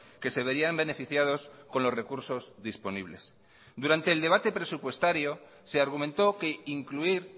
que se verían beneficiados con los recursos disponibles durante el debate presupuestario se argumentó que incluir